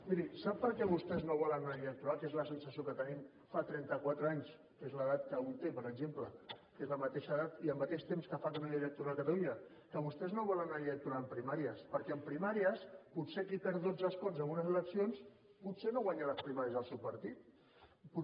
miri sap per què vostès no volen una llei electoral que és la sensació que tenim fa trentaquatre anys que és l’edat que un té per exemple que és la mateixa edat i el mateix temps que fa que no hi ha llei electoral a catalunya que vostès no volen una llei electo ral amb primàries perquè amb primàries qui perd dotze escons en unes eleccions potser no guanya les primàries al seu partit